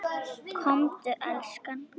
Komdu elskan!